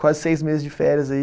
Quase seis meses de férias aí.